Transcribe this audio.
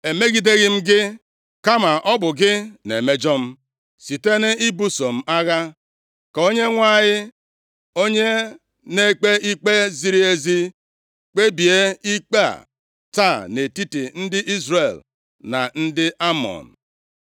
Emegideghị m gị, kama ọ bụ gị na-emejọ m, site nʼibuso m agha. Ka Onyenwe anyị, onye na-ekpe ikpe ziri ezi kpebie ikpe a taa nʼetiti ndị Izrel na ndị Amọn.”